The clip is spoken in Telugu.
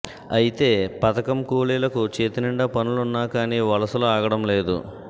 అయితే పథకం కూలీలకు చేతి నిండి పనులున్నా కూడా వలసలు ఆగడం లేదు